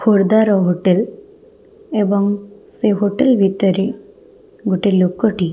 ଖୁରଦାର hotel ଏବଂ ସେ hotel ଭିତରେ ଗୋଟେ ଲୋକ ଟି --